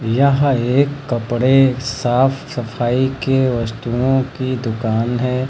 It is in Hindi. यह एक कपड़े साफ सफाई के वस्तुओं की दुकान है।